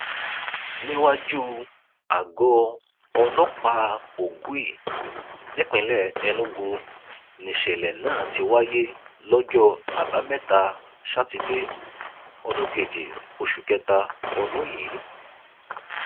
níwájú àgọ ọlọpàá ogui nípínlẹ enugu nìṣẹlẹ náà ti wáyé lọjọ àbámẹta sátidé ọjọ kejì oṣù kẹta ọdún yìí